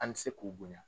An bɛ se k'u bonya